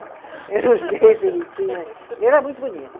Eu não sei se ele tinha, ele era muito bonito.